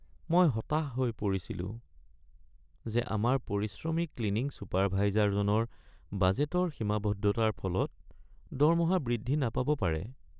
মই হতাশ হৈ পৰিছিলো যে আমাৰ পৰিশ্ৰমী ক্লিনিং চুপাৰভাইজাৰজনৰ বাজেটৰ সীমাবদ্ধতাৰ ফলত দৰমহা বৃদ্ধি নাপাব পাৰে।